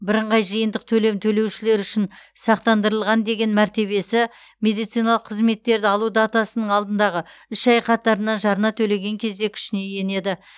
бірыңғай жиынтық төлем төлеушілер үшін сақтандырылған деген мәртебесі медициналық қызметтерді алу датасының алдындағы үш ай қатарынан жарна төлеген кезде күшіне енеді